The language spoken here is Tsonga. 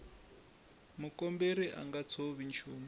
mukomberi a nga tshovi nchumu